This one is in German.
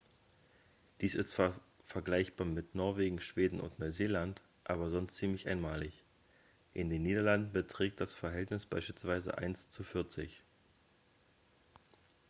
dies ist zwar vergleichbar mit norwegen schweden und neuseeland aber sonst ziemlich einmalig in den niederlanden beträgt das verhältnis beispielsweise eins zu vierzig.